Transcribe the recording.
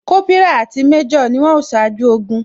Kópírà àti méjò ni wón o ṣáájú ogun